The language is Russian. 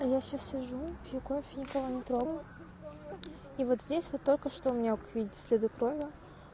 я сейчас сижу пью кофе никого не трогаю и вот здесь вот только что мог видеть следы крови